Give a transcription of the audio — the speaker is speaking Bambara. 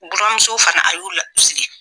Buranmuso fana a y'u la u sigi